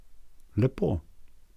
Lepo.